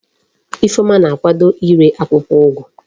Ifeoma na akwado ire akwukwo ugu